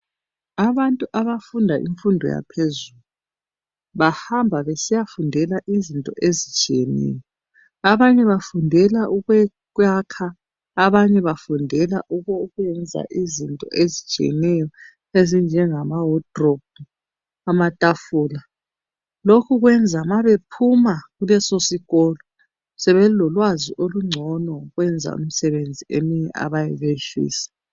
Abantu abafunda imfundo yaphezulu bahamba besiya fundela izinto ezitshiyeneyo. Abanye bafundela ukwakha abanye bafundela ukwenza izinto ezitshiyeneyo ezinjenga mawadirobhu amatafula lokhu kwenza ma bephuma kuleso sikolo sebelolwazi olungcono ukwenza imisebenzi eminye abayabe beyifisa.